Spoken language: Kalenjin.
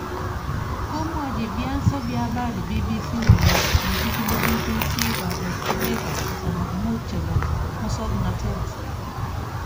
Komwachi vyanso vya habari BBC kole kochigili BBC kabokchinet 35 chebo mosoknotet